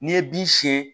N'i ye bin siɲɛ